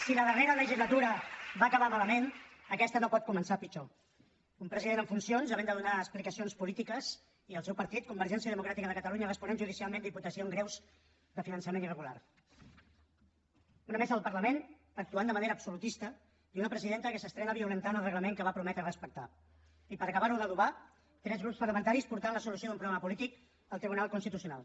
si la darrera legislatura va acabar malament aquesta no pot començar pitjor un president en funcions que ha de donar explicacions polítiques i el seu partit convergència democràtica de catalunya responent judicialment d’imputacions greus de finançament irregular una mesa del parlament que actua de manera absolutista i una presidenta que s’estrena violentant el reglament que va prometre respectar i per acabar ho d’adobar tres grups parlamentaris que porten la solució d’un problema polític al tribunal constitucional